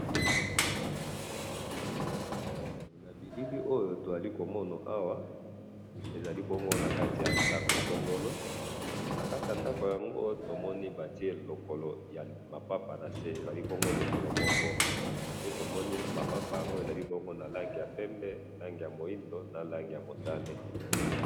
na bilili oyo tozali komomona awa ezali nakati ya ndaku songolo nakati ya ndaku songolo oyo batiye nakati lipapa moko ezali na langi ya pembe na langi mwindu na langi ya motane